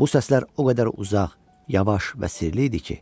Bu səslər o qədər uzaq, yavaş və sirli idi ki,